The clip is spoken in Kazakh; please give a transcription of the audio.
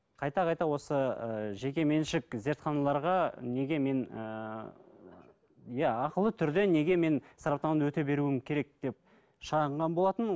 қайта қайта осы ы жекеменшік зертханаларға неге мен ыыы иә ақылы түрде неге мен сараптаманы өте беруім керек деп шағынған болатын